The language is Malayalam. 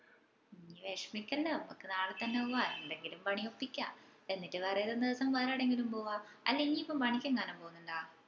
ഇഞ് വിഷമിക്കല്ല ഞമ്മക്ക് നാളെ തെന്നെ പോവ്വാ എന്തെങ്കിലും പണി ഒപ്പിക്കാ എന്നിട്ട് വേറെ ഏതേലും ദിവസം വേറെ എവിടേലും പോവ്വാ അല്ല ഇഞ്ഞിപ്പോ പണിക്ക് എങ്ങാനും പൊന്നിണ്ടോ?